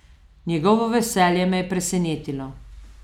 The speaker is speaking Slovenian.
Njegovo veselje me je presenetilo.